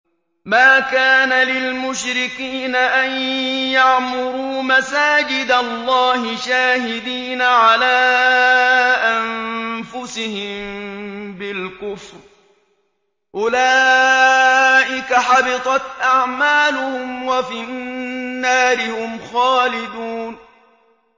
مَا كَانَ لِلْمُشْرِكِينَ أَن يَعْمُرُوا مَسَاجِدَ اللَّهِ شَاهِدِينَ عَلَىٰ أَنفُسِهِم بِالْكُفْرِ ۚ أُولَٰئِكَ حَبِطَتْ أَعْمَالُهُمْ وَفِي النَّارِ هُمْ خَالِدُونَ